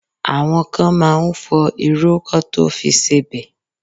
Àwọn kan máa ń fọ irú kọ́ tó fi sebẹ̀